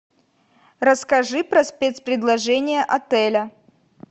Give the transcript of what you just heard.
расскажи про спецпредложения отеля